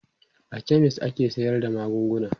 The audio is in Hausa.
a chemist ake sayar da magunguna